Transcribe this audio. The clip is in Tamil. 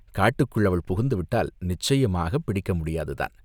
காட்டுக்குள் அவள் புகுந்துவிட்டால் நிச்சயமாகப் பிடிக்க முடியாதுதான்!